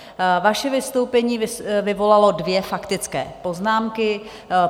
Vaše vystoupení vyvolalo dvě faktické poznámky.